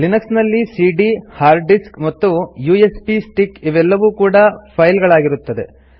Linux ನಲ್ಲಿ ಸಿಡಿಯ hard disk ಅಥವಾ ಯು ಎಸ್ ಬಿ ಸ್ಟಿಕ್ ಇವೆಲ್ಲವೂ ಕೂಡಾ ಫೈಲ್ ಗಳಾಗಿರುತ್ತದೆ